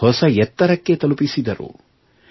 ಒಂದು ಹೊಸ ಎತ್ತರಕ್ಕೆ ತಲುಪಿಸಿದರು